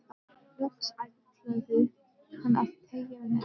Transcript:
Loks ætlaði hann að teygja net